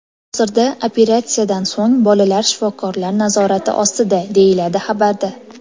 Hozirda, operatsiyadan so‘ng, bolalar shifokorlar nazorati ostida”, deyiladi xabarda.